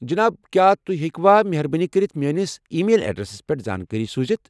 جناب، کیٚا تُہۍ ہیٚکوا مہربٲنی کٔرِتھ میٲنِس ای میل ایڈریسَس پٮ۪ٹھ زانٛکٲری سوٗزِتھ؟